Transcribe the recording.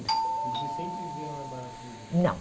E vocês sempre viveram na Barata Ribeiro? Não